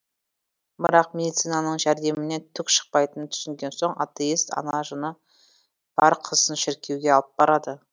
бірақ медицинананың жәрдемінен түк шықпайтынын түсінген соң атеист ана жыны бар қызын шіркеуге алып барады